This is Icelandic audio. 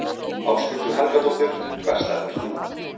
Ásthildur Helgadóttir Hvert stefnir þú?